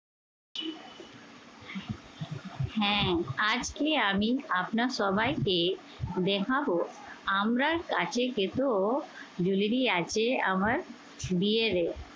হ্যাঁ আজকে আমি আপনার সবাইকে দেখাবো আমরা কাছে গেতেও jewelry আছে আমার বিয়েরে।